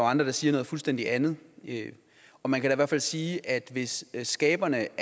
andre der siger noget fuldstændig andet og man kan da fald sige at hvis skaberne